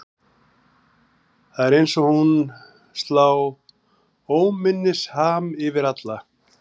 Það er eins og hún slá óminnisham yfir alla.